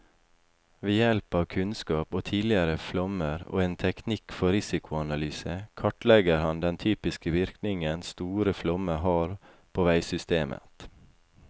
Ved hjelp av kunnskap om tidligere flommer og en teknikk for risikoanalyse kartlegger han den typiske virkningen store flommer har på veisystemet.